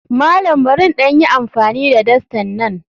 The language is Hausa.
Malam barin ɗan yi amfani da dastan nan?